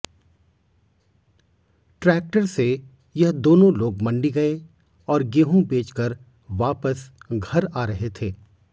tractor से यह दोनों लोग मंडी गए और गेहूं बेचकर वापस घर आ रहे थे